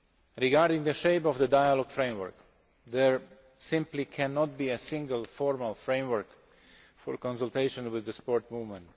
Regarding the shape of the dialogue framework, there simply cannot be a single, formal framework for consultation with the sport movement.